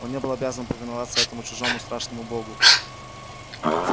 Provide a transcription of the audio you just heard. он не был обязан повиноваться этому чужому страшному богу